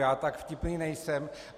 Já tak vtipný nejsem.